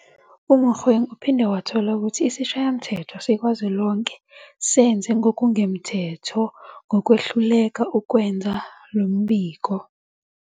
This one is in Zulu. UMogoeng uphinde wathola ukuthi isiShayamthetho Sikazwelonke senze ngokungemthetho ngokwehluleka ukwenza lo mbiko.